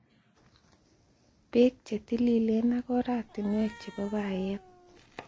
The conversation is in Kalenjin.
Beek che tililen ak oratinwek chebo bayet.